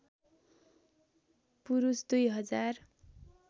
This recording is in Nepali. पुरुष २ हजार